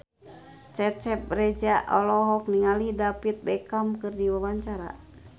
Cecep Reza olohok ningali David Beckham keur diwawancara